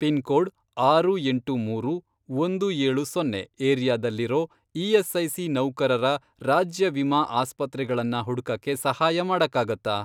Pin code, ಆರು ಎಂಟು ಮೂರು, ಒಂದು ಏಳು ಸೊನ್ನೆ, ಏರಿಯಾದಲ್ಲಿರೋ ಇ.ಎಸ್.ಐ.ಸಿ. ನೌಕರರ ರಾಜ್ಯ ವಿಮಾ ಆಸ್ಪತ್ರೆಗಳನ್ನ ಹುಡ್ಕಕ್ಕೆ ಸಹಾಯ ಮಾಡಕ್ಕಾಗತ್ತಾ?